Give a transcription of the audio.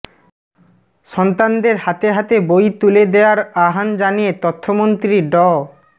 সন্তানদের হাতে হাতে বই তুলে দেয়ার আহ্বান জানিয়ে তথ্যমন্ত্রী ড